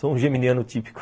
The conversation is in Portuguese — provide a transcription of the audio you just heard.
Sou um geminiano típico.